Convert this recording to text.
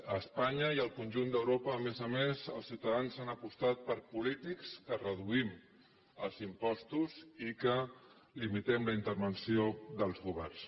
a espanya i al conjunt d’europa a més a més els ciutadans han apostat per polítics que reduïm els impostos i que limitem la intervenció dels governs